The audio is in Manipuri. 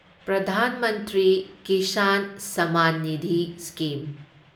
ꯄ꯭ꯔꯙꯥꯟ ꯃꯟꯇ꯭ꯔꯤ ꯀꯤꯁꯥꯟ ꯁꯝꯃꯥꯟ ꯅꯤꯙꯤ ꯁ꯭ꯀꯤꯝ